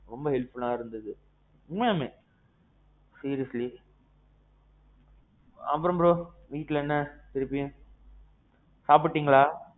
ரொம்ப helpfulஆ இருந்தது. உண்மையாலுமே seriously. அப்பறோம் bro, வீட்டுல என்ன திருப்பியும். சாப்பிட்டீங்களா?